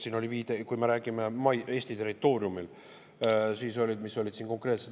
Siin oli viide nendele, mis olid konkreetselt Eesti territooriumil.